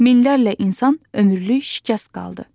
Minlərlə insan ömürlük şikəst qaldı.